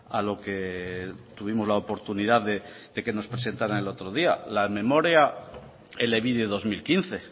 a lo que tuvimos la oportunidad de que nos presentaran el otro día la memoria elebide dos mil quince